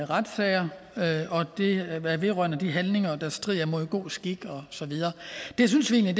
retssager vedrørende de handlinger der strider mod god skik og så videre det synes vi